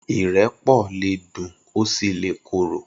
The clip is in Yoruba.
Irẹpọ lé dún ó si lé kóró